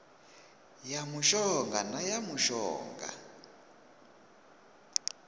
ya mushonga na ya mushonga